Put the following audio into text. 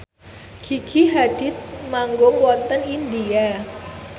Gigi Hadid manggung wonten India